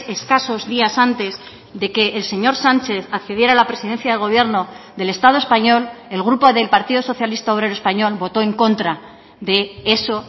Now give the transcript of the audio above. escasos días antes de que el señor sánchez accediera a la presidencia del gobierno del estado español el grupo del partido socialista obrero español votó en contra de eso